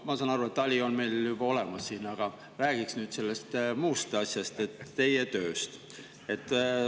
Ma saan aru, et Tali on meil juba olemas, aga räägiks sellest muust asjast, teie tööst.